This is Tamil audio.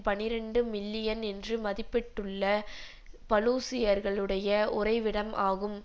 பனிரண்டு மில்லியன் என்று மதிப்பிட்டுள்ள பலூச்சியர்களுடைய உறைவிடம் ஆகும்